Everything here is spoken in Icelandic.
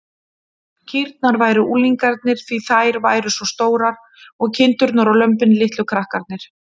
Kýrnar væru unglingarnir, því þær væru svo stórar, og kindurnar og lömbin litlu krakkarnir.